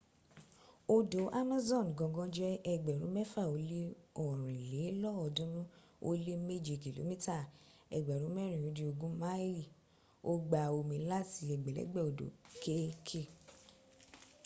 odò amazon gangan jẹ́ ẹgbẹ̀rún mẹ́fà ó lé ọ̀rìn lé lọ́ọ̀dúnrún ó lè méje kìlómítà ẹgbẹ̀rún mẹ́rin ó dín ogún máìlì. ó gba omi láti ẹgbẹ̀lẹ́gbẹ̀ odò kéèké